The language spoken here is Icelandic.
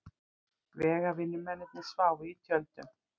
Vegavinnumennirnir sváfu í tjöldum.